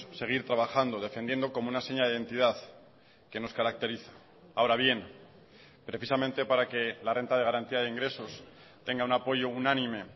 seguir trabajando defendiendo como una seña de identidad que nos caracteriza ahora bien precisamente para que la renta de garantía de ingresos tenga un apoyo unánime